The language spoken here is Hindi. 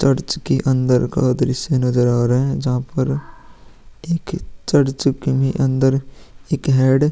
चर्च के अंदर का दृस्य नजर आ रहा है जहाँ पर एक चर्च के में अंदर एक हेड --